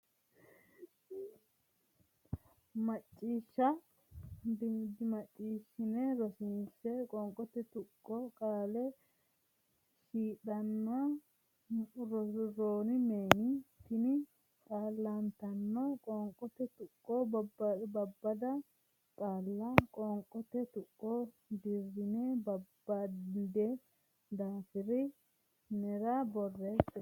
mac ciish shan dimacciishshanni Rosiishsha Qoonqote Tuqqo Qaale shi shi dhan mun roon neem xiin xal tan Qoonqote Tuqqo Babbada qaalla qoonqote tuqqo deerrinni babbaddine daftari nera borreesse.